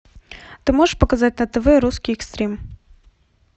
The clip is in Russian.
ты можешь показать на тв русский экстрим